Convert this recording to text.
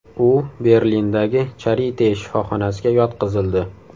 U Berlindagi Charite shifoxonasiga yotqizildi.